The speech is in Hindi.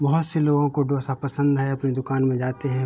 बोहोत से लोगों को डोसा पसंद है अपनी दुकान में जाते हैं --